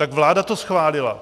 Tak vláda to schválila.